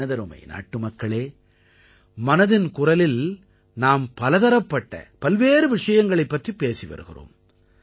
எனதருமை நாட்டுமக்களே மனதின் குரலில் நாம் பலதரப்பட்ட பல்வேறு விஷயங்கள் பற்றிப் பேசி வருகிறோம்